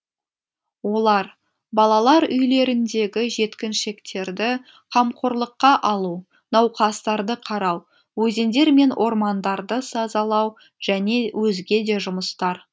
олар балалар үйлеріндегі жеткіншектерді қамқорлыққа алу науқастарды қарау өзендер мен ормандарды сазалау және өзге де жұмыстар